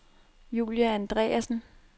Julie Andreassen